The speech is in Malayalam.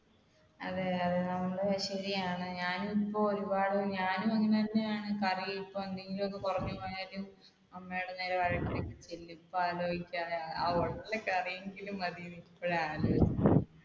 അതെ അതെ നമ്മൾ ശരിയാണ് ഞാൻ ഇപ്പൊ ഒരുപാട് ഞാൻ ഇങ്ങനെ തന്നെയാണ്, കാരണം ഇപ്പൊ എന്തെങ്കിലും ഒക്കെ കുറഞ്ഞുപോയാൽ അമ്മയുടെ നേരെ